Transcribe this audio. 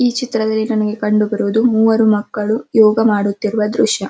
ಈ ಚಿತ್ರದಲ್ಲಿ ನಮಗೆ ಕಂಡುಬರುವುದು ಮೂವರು ಮಕ್ಕಳು ಯೋಗ ಮಾಡುತ್ತಿರುವ ದೃಶ್ಯ --